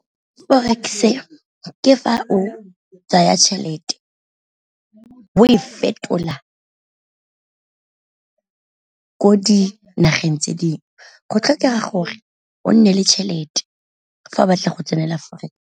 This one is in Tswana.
Forex e ke fa o tsaya tšhelete o e fetola ko dinageng tse dingwe, go tlhokega gore o nne le tšhelete fa o batla go tsenela forex.